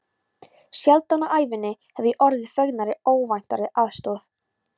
Sjaldan á ævinni hef ég orðið fegnari óvæntri aðstoð.